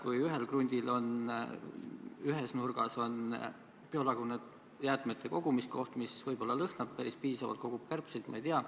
Kui ühel krundil on ühes nurgas biolagunevate jäätmete kogumiskoht, mis võib-olla lõhnab päris piisavalt, kogub kärbseid?